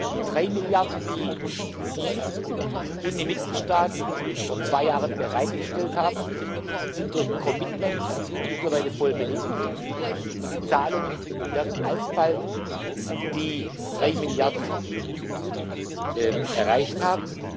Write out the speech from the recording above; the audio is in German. Die drei Milliarden, die Sie und die Mitgliedstaaten vor zwei Jahren bereitgestellt haben, sind durch commitments mittlerweile voll belegt, und die Zahlungen werden alsbald die drei Milliarden erreicht haben.